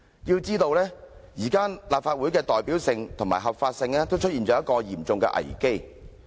須知道，現時立法會的代表性和合法性出現了嚴重危機。